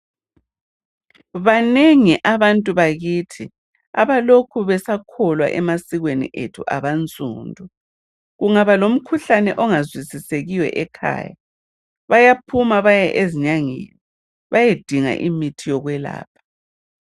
Banengi abantu bakithi abalokhe besakholelwa emasikweni akithi abansundu kungaba lomkhuhlane ongazwisisekiyo ekhaya bayaphuma beye ezinyangeni beyedinga umuthi wokuyelapha